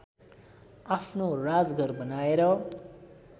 आफ्नो राजघर बनाएर